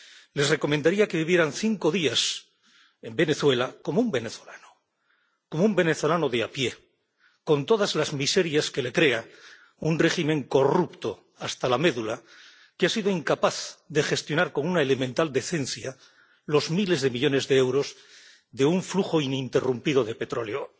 les recomendaría que vivieran cinco días en Venezuela como un venezolano, como un venezolano de a pie, con todas las miserias que le crea un régimen corrupto hasta la médula, que ha sido incapaz de gestionar con una elemental decencia los miles de millones de euros de un flujo ininterrumpido de petróleo.